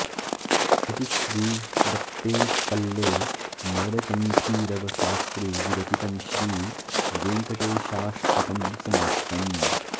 इति श्री वट्टेपल्ले नरकण्ठीरव शास्त्रि विरचितम् श्री वेङ्कटेशाष्टकं समाप्तम्